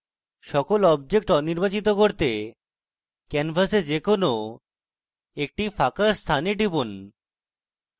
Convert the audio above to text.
সকল objects অনির্বাচিত করতে canvas যে কোনো একটি ফাঁকা স্থানে টিপুন